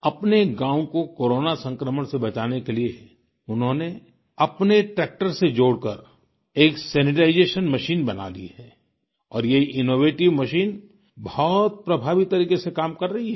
अपने गाँव को कोरोना संक्रमण से बचाने के लिए उन्होंने अपने ट्रैक्टर से जोड़कर एक सैनिटाइजेशन मशीन बना ली है और ये इनोवेटिव मशीन बहुत प्रभावी तरीके से काम कर रही है